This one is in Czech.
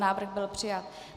Návrh byl přijat.